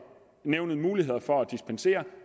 nævnet mulighed for at dispensere